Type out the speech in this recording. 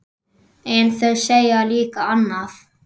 En þau segja líka annað.